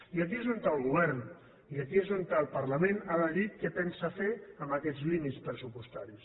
i aquí és on el govern i aquí és on el parlament han de dir què pensen fer amb aquests límits pressupostaris